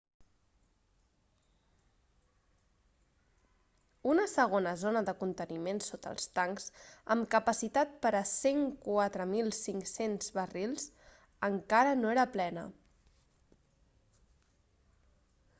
una segona zona de conteniment sota els tancs amb capacitat per a 104.500 barrils encara no era plena